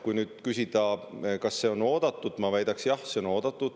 Kui nüüd küsida, kas see on oodatud, siis ma väidaksin: jah, see on oodatud.